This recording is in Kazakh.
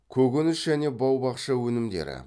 көкөніс және бау бақша өнімдері